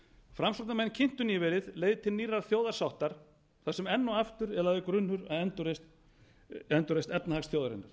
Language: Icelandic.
framsóknarmenn kynntu nýverið leið til nýrrar þjóðarsáttar þar sem enn og aftur er lagður grunnur að endurreisn efnahags þjóðarinnar